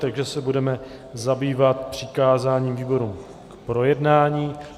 Takže se budeme zabývat přikázáním výborům k projednání.